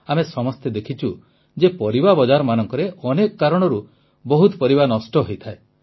ଆମେ ସମସ୍ତେ ଦେଖିଛୁ ଯେ ପରିବା ବଜାରମାନଙ୍କରେ ଅନେକ କାରଣରୁ ବହୁତ ପରିବା ନଷ୍ଟ ହୋଇଥାଏ